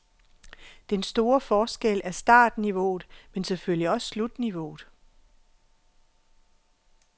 Den store forskel er startniveauet, men selvfølgelig også slutniveauet.